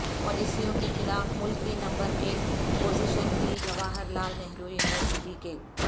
پالیسیوں کے خلاف ملک کی نمبر ایک پوزیشن کی جواہر لال نہرو یونیورسٹی کے